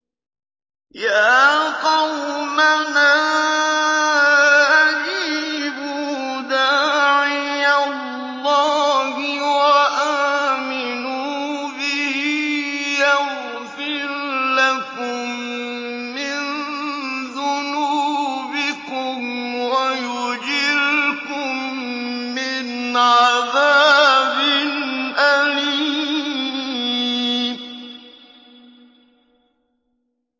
يَا قَوْمَنَا أَجِيبُوا دَاعِيَ اللَّهِ وَآمِنُوا بِهِ يَغْفِرْ لَكُم مِّن ذُنُوبِكُمْ وَيُجِرْكُم مِّنْ عَذَابٍ أَلِيمٍ